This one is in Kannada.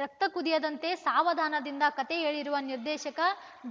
ರಕ್ತ ಕುದಿಯದಂತೆ ಸಾವಧಾನದಿಂದ ಕತೆ ಹೇಳಿರುವ ನಿರ್ದೇಶಕ